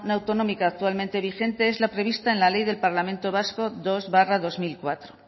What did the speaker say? autonómica actualmente vigente es la prevista en la ley del parlamento vasco dos barra dos mil cuatro